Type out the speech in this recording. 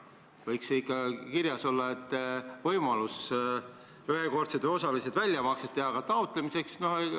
Võiks ju ikka kirjas olla, et tekib võimalus ühekordsed või osalised väljamaksed teha.